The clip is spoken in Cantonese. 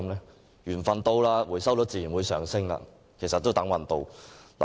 當緣份來到時，回收率便自然會上升，其實是"等運到"。